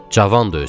Cavandı özü.